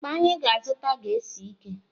Akpa anyị ga-azụta ga-esi ike.